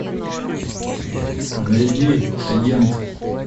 найди агент